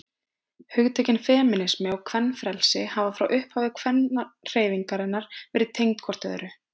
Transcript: hugtökin femínismi og kvenfrelsi hafa frá upphafi kvennahreyfingarinnar verið tengd hvort öðru